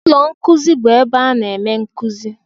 Ụlọ nkuzi bụ ebe a na-eme nkuzi.